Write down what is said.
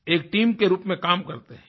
एक टीम के रूप में काम करते हैं